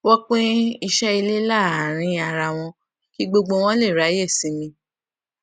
wón pín iṣé ilé láàárín ara wọn kí gbogbo wọn lè ráyè sinmi